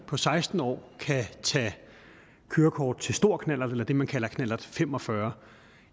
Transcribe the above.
på seksten år kan tage kørekort til stor knallert eller det man kalder knallert fem og fyrre